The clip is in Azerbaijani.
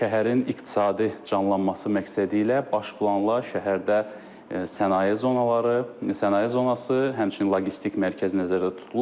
Şəhərin iqtisadi canlanması məqsədi ilə baş planla şəhərdə sənaye zonaları, sənaye zonası, həmçinin logistik mərkəz nəzərdə tutulur.